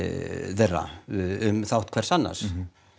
þeirra um þátt hvers annars